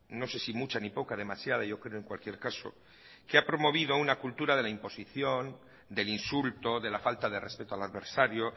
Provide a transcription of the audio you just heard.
no sé si mucha ni poca demasiada yo creo en cualquier caso que ha promovido una cultura de la imposición del insulto de la falta de respeto al adversario